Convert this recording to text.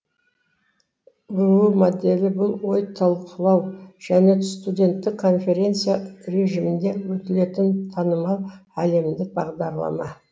бұұ моделі бұл ой талқылау және студенттік конференция режимінде өтілетін танымал әлемдік бағдарлама